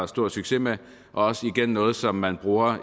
stor succes med og også igen noget som man bruger